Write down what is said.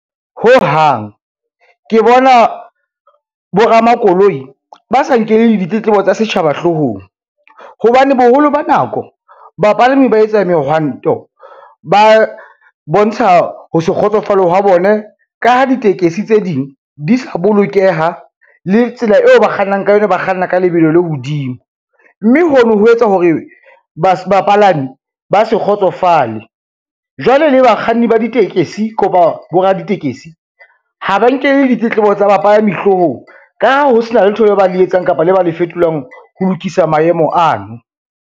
Ho hang, ke bona boramakoloi ba sa nkele ditletlebo tsa setjhaba hloohong, hobane boholo ba nako bapalami ba etsa mehwanto ba bontsha ho se kgotsofale hwa bone ka ha ditekesi tse ding di sa bolokeha le tsela eo ba kgannang ka yona, ba kganna ka lebelo le hodimo, mme hono ho etsa hore bapalami ba se kgotsofale. Jwale le bakganni ba ditekesi kopa boraditekesi ha ba nkele ditletlebo tsa bapalami hloohong ka ha ho sena letho le ba le etsang kapa le ba le fetolang ho lokisa maemo ano.